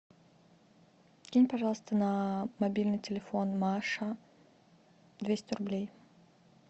кинь пожалуйста на мобильный телефон маша двести рублей